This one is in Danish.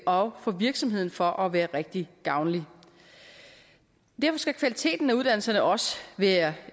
og for virksomheden for at være rigtig gavnlig derfor skal kvaliteten af uddannelserne også være